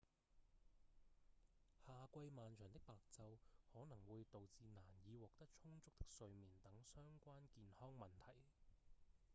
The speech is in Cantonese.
夏季漫長的白晝可能會導致難以獲得充足的睡眠等相關健康問題